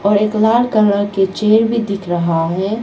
और एक लाल कलर के चेयर भी दिख रहा है।